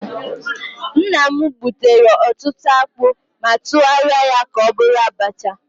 Nna m gbutere ọtụtụ akpụ ma tụgharịa ya ka ọ bụrụ abacha